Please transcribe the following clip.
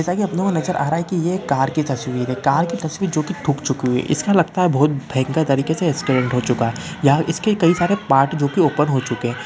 जैसा की अपनों को नज़र आ रहा ये एक कार कि तस्वीर है कार कि तस्वीर जो कि ठुक चुकी है एसा लगता है की बहुत भयंकर तरीके से एक्सीडेंट हो चूका है या इसके कई सारे पार्ट जो की ओपन हो चूके है |